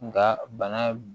Nka bana